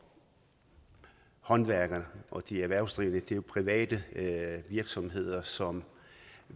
håndværkere og de erhvervsdrivende det er jo private virksomheder som